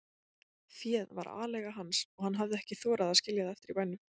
Féð var aleiga hans og hann hafði ekki þorað að skilja það eftir í bænum.